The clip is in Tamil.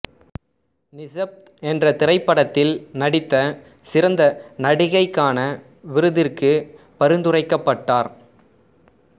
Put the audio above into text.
நிசப்த் என்ற திரைப்படத்தில் நடித்து சிறந்த நடிகைக்கான விருதிற்கு பரிந்துரைக்கப்பட்டார்